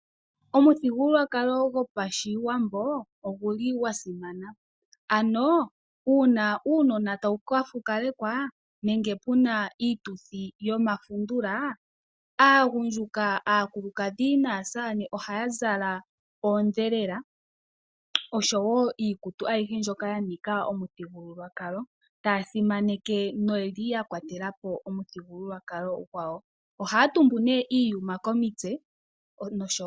Omuthigululwakalo gwopashiwambo oguli gwasimana ,ano uuna uunona tawu kafukalekwa nenge pena iituthi yomafundula ,aagundjuka ,aakulukadhi naasamane ohaya zala iikutu yoondhelela taya simanekitha omuthigululwakalo gwayo. Ohaya tumbu nee iiyuma komitse noshowo